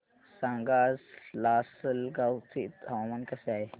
सांगा आज लासलगाव चे हवामान कसे आहे